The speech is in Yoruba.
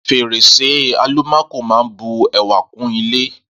Fèrèsé àlùmákò máa ń bu ẹwà kún ilé